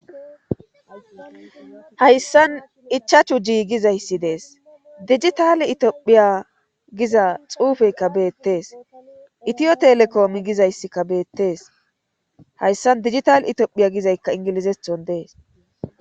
Hayssan ichachu ji gizayssi dees digitali itophiya giza xuufeykka beettes itiyo telekoomi gizayssikka beettees hayssan digital itiophiya gizaykka ingilizethon dees.